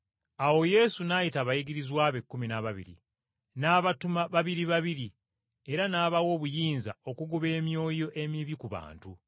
Awo Yesu n’ayita abayigirizwa be ekkumi n’ababiri n’abatuma babiri babiri era n’abawa obuyinza okugoba emyoyo emibi ku bantu.